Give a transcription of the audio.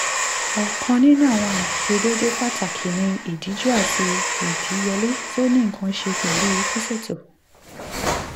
ọkan ninu awọn aiṣedeede pataki ni idiju ati idiyele ti o ni nkan ṣe pẹlu siseto